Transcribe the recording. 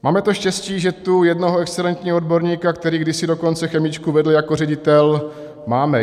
Máme to štěstí, že tu jednoho excelentního odborníka, který kdysi dokonce chemičku vedl jako ředitel, máme.